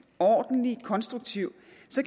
ordentlig og konstruktiv